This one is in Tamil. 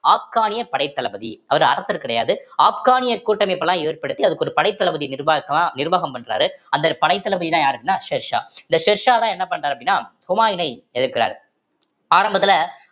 ஆப்கானிய படைத்தளபதி அவர் அரசர் கிடையாது ஆப்கானியர் கூட்டமைப்பு எல்லாம் ஏற்படுத்தி அதுக்கு ஒரு படைத்தளபதி நிர்வாகலாம் நிர்வாகம் பண்றாரு அந்த படைத்தளபதிதான் யாரு அப்படின்னா ஷெர்ஷா இந்த ஷெர்ஷாதான் என்ன பண்றாரு அப்படின்னா ஹுமாயினை எதிர்க்கிறார் ஆரம்பத்துல